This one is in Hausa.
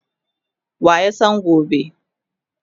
waya San gobe?